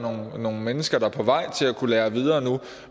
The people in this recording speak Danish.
er nogle mennesker der er på vej til at kunne lære videre nu